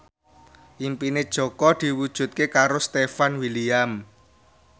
impine Jaka diwujudke karo Stefan William